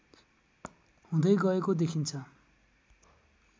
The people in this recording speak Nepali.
हुँदै गएको देखिन्छ